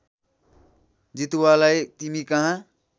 जितुवालाई तिमी कहाँ